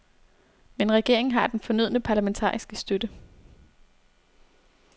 Men regeringen har den fornødne parlamentariske støtte.